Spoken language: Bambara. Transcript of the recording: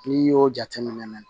N'i y'o jateminɛ